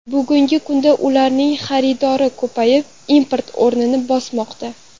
Bugungi kunda ularning xaridori ko‘payib, import o‘rnini bosmoqda.